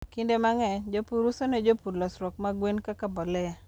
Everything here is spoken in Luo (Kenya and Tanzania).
Kinde mang'eny, jopur uso ne jopur losruok mag gwen kaka mbolea.